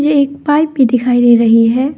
एक पाइप भी दिखाई रही है।